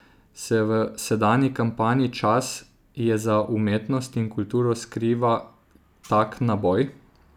Se v sedanji kampanji Čas je za umetnost in kulturo skriva tak naboj?